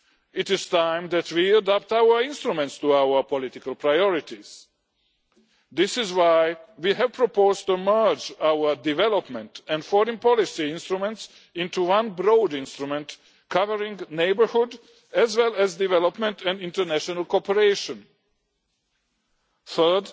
It is time that we adapt our instruments to our political priorities. This is why we have proposed merging our development and foreign policy instruments into one broad instrument covering neighbourhood as well as development and international cooperation.